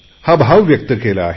हा भाव व्यक्त केला आहे